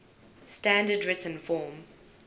standard written form